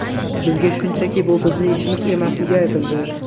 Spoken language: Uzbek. Bizga shunchaki bu bizning ishimiz emasligi aytildi.